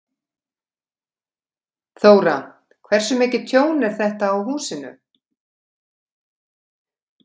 Þóra: Hversu mikið tjón er þetta á húsinu?